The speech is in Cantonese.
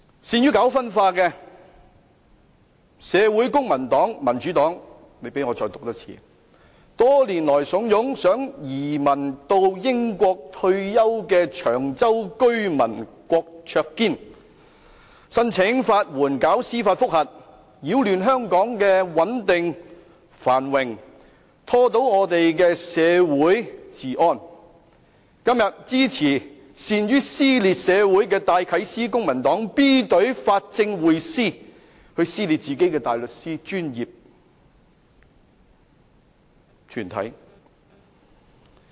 善於搞社會分化的公民黨、民主黨，多年來慫恿想移民到英國退休的長洲居民郭卓堅，申請法援以進行司法覆核，擾亂香港的穩定、繁榮，破壞香港的社會治安，今天支持善於撕裂社會的戴啟思、公民黨 B 隊法政匯思，撕裂自己的大律師專業團體。